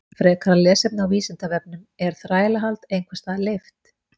Frekara lesefni á Vísindavefnum Er þrælahald einhvers staðar leyft?